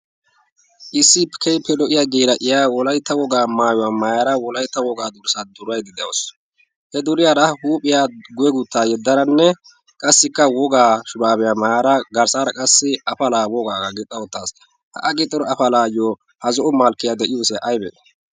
isipikeiipe lo'iya geera ayiya wolaitta wogaa maayuwaa maayara wolaitta wogaa durssaa duraiddi de'uwus. he duriyaara huuphiya gweeguttaa yeddaranne qassikka wogaa shuraabiyaa maayara garssaara qassi afalaa wogaagaa gixxa ottaassu. ha a gixxora afalaayyo ha zo'o malkkiyaa de'iyosaa aybee?